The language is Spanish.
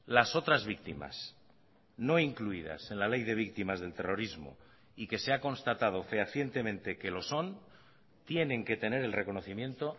las otras víctimas no incluidas en la ley de víctimas del terrorismo y que se ha constatado fehacientemente que lo son tienen que tener el reconocimiento